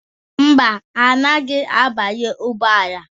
Mba, ha anaghị abanye ụgbọala.